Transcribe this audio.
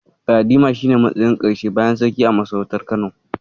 Galadima shi ne matsayin Karshe bayan Sarki a masarautar Kano.